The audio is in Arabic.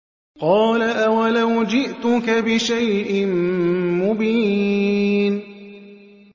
قَالَ أَوَلَوْ جِئْتُكَ بِشَيْءٍ مُّبِينٍ